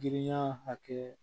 Giriya hakɛ